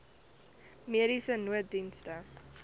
mediese nooddienste